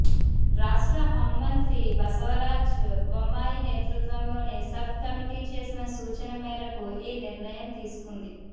రాష్ట్ర హౌం మంత్రి బసవరాజ్ బొమ్మాయి నేతృత్వంలోని సబ్ కమిటీ చేసిన సూచన మేరకు ఈ నిర్ణయం తీసుకుంది